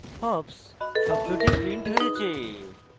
hops শব্দটি printed হয়েছে